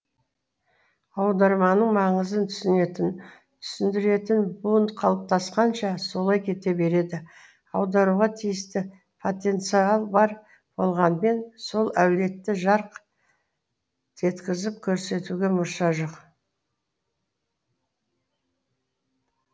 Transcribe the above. аударманың маңызын түсінетін түсіндіретін буын қалыптасқанша солай кете береді аударуға тиісті потенциал бар болғанымен сол әулетті жарқ еткізіп көрсетуге мұрша жоқ